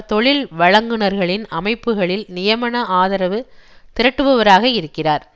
தொழில்வழங்குனர்களின் அமைப்புகளில் நியமன ஆதரவு திரட்டுபவராக இருக்கிறார்